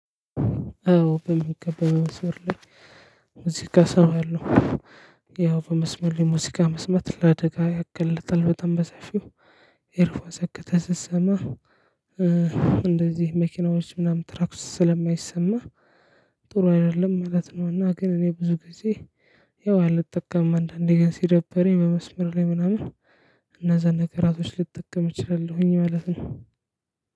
አዎ በሚገባው መስመር ላይ ሙዚቃ ሰማለው። ያው በመስመር ሙዚቃ መስማት ለአደጋ ያገልጣል በጣም በሰፊው። ኤርፎ ሰክተህ ስትሰማ እንደዚህ መኪናዎች ምናምን ክላክሱ ስልማይሰማ ጥሩ አይደለም ማለት ነው። እና ግን እኔ ብዙ ጊዜ። ያው አልጠቀምም አንዳንዴ ግን ሲደብረኝ በመስመር ላይ ምናምን እነዛን ነገራቶች ልጠቀም እችላለሁኝ ማለት ነው።